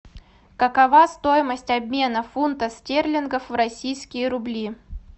какова стоимость обмена фунтов стерлингов в российские рубли